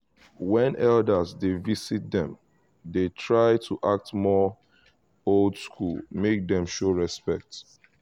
when elders dey visit them dey try to act more old school make them show respect